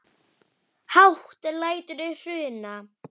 Hátt lætur í Hruna